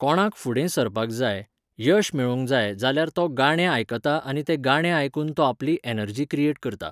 कोणाक फुडें सरपाक जाय, यश मेळोवंक जाय जाल्यार तो गाणें आयकता आनी तें गाणें आयकून तो आपली ऍनर्जी क्रियेट करता.